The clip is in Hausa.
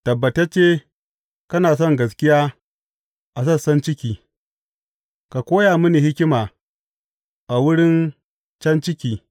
Tabbatacce kana son gaskiya a sassan ciki; ka koya mini hikima a wuri can ciki.